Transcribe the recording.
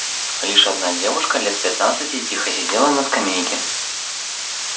лишь одна девушка лет пятнадцати тихо сидела на скамейке